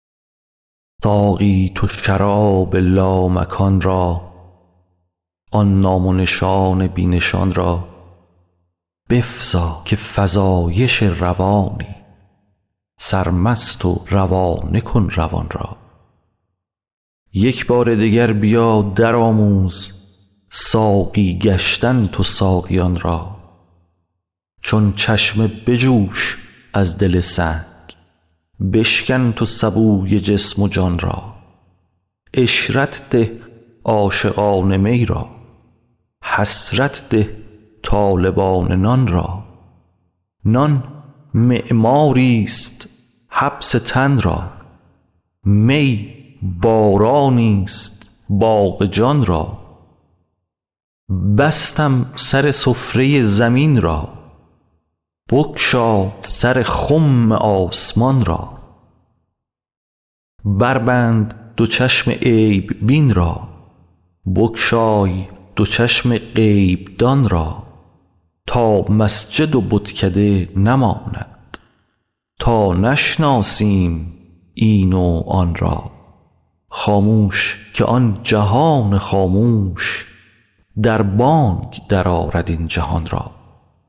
ساقی تو شراب لامکان را آن نام و نشان بی نشان را بفزا که فزایش روانی سرمست و روانه کن روان را یک بار دگر بیا درآموز ساقی گشتن تو ساقیان را چون چشمه بجوش از دل سنگ بشکن تو سبوی جسم و جان را عشرت ده عاشقان می را حسرت ده طالبان نان را نان معماریست حبس تن را می بارانیست باغ جان را بستم سر سفره زمین را بگشا سر خم آسمان را بربند دو چشم عیب بین را بگشای دو چشم غیب دان را تا مسجد و بتکده نماند تا نشناسیم این و آن را خاموش که آن جهان خاموش در بانگ درآرد این جهان را